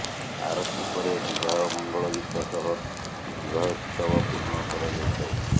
ଆରତୀ ପରେ ବିବାହ ମଙ୍ଗଳଗୀତ ସହ ବିବାହୋତ୍ସବ ପୂର୍ଣ୍ଣ କରାଯାଇଥାଏ